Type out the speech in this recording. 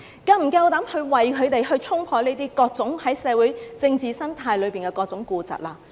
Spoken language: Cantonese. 是否敢於為他們衝破各種在社會政治生態中的痼疾？